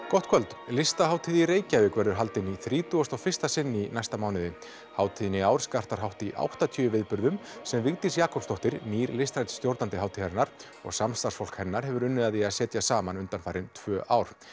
gott kvöld listahátíð í Reykjavík verður haldin í þrítugasta og fyrsta sinn í næsta mánuði hátíðin í ár skartar hátt í áttatíu viðburðum sem Vigdís Jakobsdóttir nýr listrænn stjórnandi hátíðarinnar og samstarfsfólk hennar hefur unnið að því að setja saman undanfarin tvö ár